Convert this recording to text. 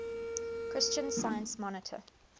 christian science monitor